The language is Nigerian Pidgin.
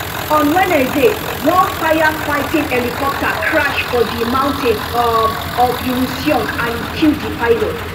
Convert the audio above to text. on wednesday one firefighting helicopter crash for di mountains um of uiseong and e kill di pilot